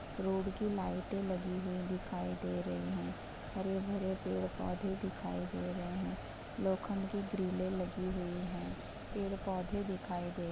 Road की लाइटे लगी हुई दिखाई दे रही है। हरे-भरे पेड़-पौधे दिखाई दे रहे हैं। लोखंड की ग्रिले लगी हुई हैं। पेड़-पौधे दिखाई दे --